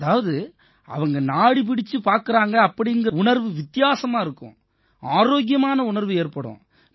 அதாவது அவங்க நாடி பிடிச்சுப் பார்க்கறாங்க அப்படீங்கற உணர்வு வித்தியாசமா இருக்கும் ஆரோக்கியமான உணர்வு ஏற்படும்